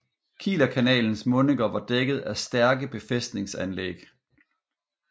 Kielerkanalens mundinger var dækket af stærke befæstningsanlæg